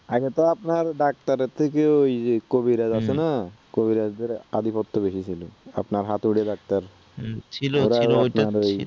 আগে তো আপনার ডাক্তারের থেকেও ঐ কবিরাজ আছে না হুম, কবিরাজদের আধিপত্য বেশি ছিলো, আপনার হাতুড়ে ডাক্তার, হুম ছিল ছিল